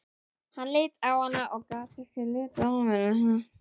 Hann leit á hana og gat ekki litið af henni.